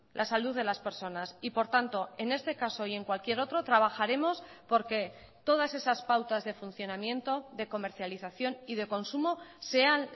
la salud de las personas y por tanto en este caso y en cualquier otro trabajaremos porque todas esas pautas de funcionamiento de comercialización y de consumo sean